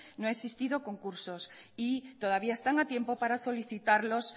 no ha existido concursos y todavía están a tiempo para solicitarlos